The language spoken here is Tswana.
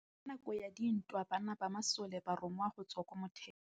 Ka nakô ya dintwa banna ba masole ba rongwa go tswa kwa mothêô.